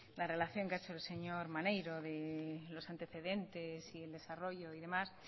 la relación que ha hecho el señor maneiro de los antecedentes el desarrollo y demás